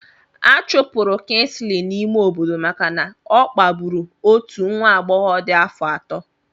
Achụpụrụ Kingley n'ime obodo maka na ọ kpagburu otu nwa agbọghọ dị afọ ato.